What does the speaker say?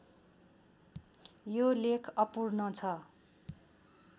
यो लेख अपूर्ण छ